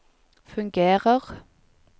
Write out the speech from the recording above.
fungerer